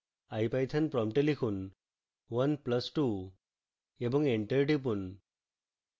ipython prompt লিখুন 1 plus 2 এবং enter টিপুন